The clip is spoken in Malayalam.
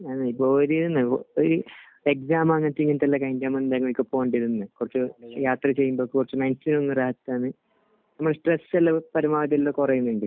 ഞാനേ ഉള്ളു. ഒരു ഇങ്ങനത്തെ വല്ല കുറച്ച് യാത്ര ചെയ്യുമ്പോൾ കുറച്ച് ഒന്ന് ഒരു ഫ്രഷ് കുറെ തന്നെയുണ്ട്.